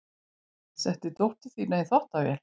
Setti dóttur sína í þvottavél